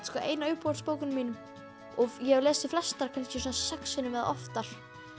ein af uppáhalds bókunum mínum og ég hef lesið flestar kannski sex sinnum eða oftar